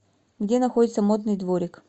где находится модный дворик